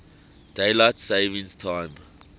daylight saving time